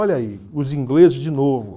Olha aí, os ingleses de novo.